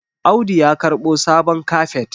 Audu ya karɓo sabon kafet